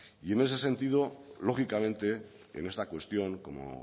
en ese sentido lógicamente en esta cuestión como